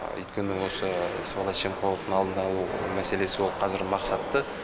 өйткені осы сыбайлас жемқорлықтың алдын алу мәселесі ол қазір мақсатты